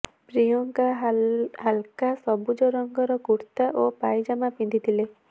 ପ୍ରିୟଙ୍କା ହାଲକା ସବୁଜ ରଙ୍ଗର କୁର୍ତ୍ତା ଓ ପାଇଜାମା ପିନ୍ଧିଥିଲେ